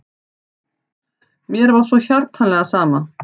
Mér var svo hjartanlega sama.